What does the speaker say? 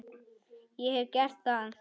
Ég hef gert það.